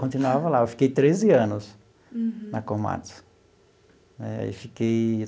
Continuava lá, eu fiquei treze anos. Uhum. Na Komatsu né aí fiquei.